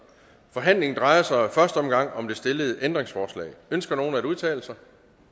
forhandlingen drejer sig i første omgang om det stillede ændringsforslag ønsker nogen at udtale sig